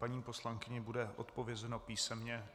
Paní poslankyni bude odpovězeno písemně.